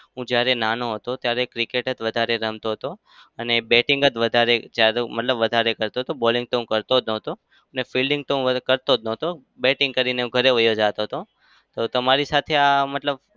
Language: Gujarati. હું જ્યારે નાનો હતો ત્યારે cricket જ વધારે રમતો હતો. અને batting જ વધારે મતલબ વધારે કરતો હતો. bowling તો હું કરતો નતો અને fielding તો હું કરતો જ નતો. batting કરીને હું ઘરે વહ્યો જાતો હતો. તો તમારી સાથે આ મતલબ